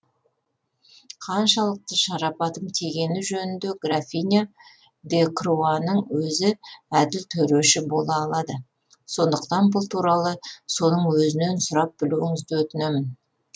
қаншалықты шарапатым тигені жөнінде графиня де круаның өзі әділ төреші бола алады сондықтан бұл туралы соның өзінен сұрап білуіңізді өтінемін